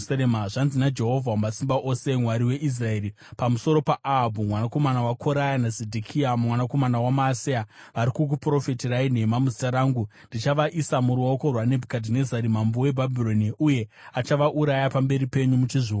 Zvanzi naJehovha Wamasimba Ose, Mwari weIsraeri, pamusoro paAhabhu mwanakomana waKoraya naZedhekia mwanakomana waMaaseya, vari kukuprofitirai nhema muzita rangu: “Ndichavaisa muruoko rwaNebhukadhinezari mambo weBhabhironi, uye achavauraya pamberi penyu muchizviona.